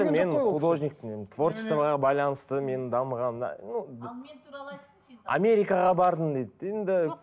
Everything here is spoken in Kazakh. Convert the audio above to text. мен художникпін мен творчествоға байланысты менің дамығаным ал мен туралы айтсыншы енді америкаға бардым дейді енді